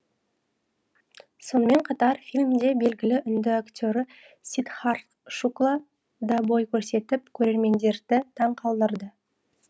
сонымен қатар фильмде белгілі үнді актері сиддхартх шукла да бой көрсетіп көрермендерді таңқалдырды